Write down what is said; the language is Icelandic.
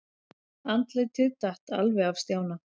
Andlitið datt alveg af Stjána.